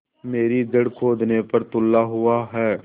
मेरी जड़ खोदने पर तुला हुआ है